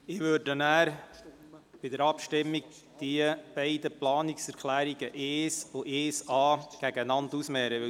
Ich würde dann die Planungserklärungen 1 und 1a bei der Abstimmung einander gegenüberstellen.